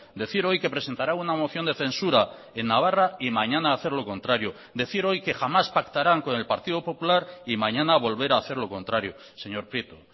decir hoy que presentará una moción de censura en navarra y mañana hacer lo contrario decir hoy que jamás pactarán con el partido popular y mañana volver a hacer lo contrario señor prieto